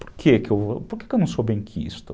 Por que que, por que que eu não sou benquisto?